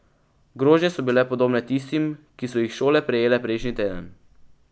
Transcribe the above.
Grožnje so bile podobne tistim, ki so jih šole prejele prejšnji teden.